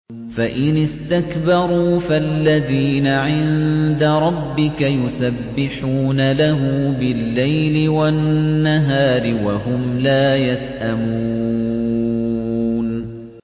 فَإِنِ اسْتَكْبَرُوا فَالَّذِينَ عِندَ رَبِّكَ يُسَبِّحُونَ لَهُ بِاللَّيْلِ وَالنَّهَارِ وَهُمْ لَا يَسْأَمُونَ ۩